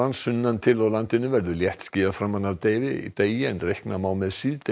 sunnan til á landinu verður léttskýjað framan af degi degi en reikna má með